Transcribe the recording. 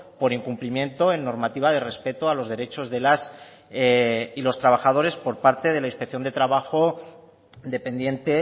por incumplimiento en normativa de respeto a los derechos de las y los trabajadores por parte de inspección de trabajo dependiente